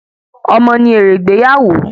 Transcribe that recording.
Ọmọ ni èrè ìgbéyàwó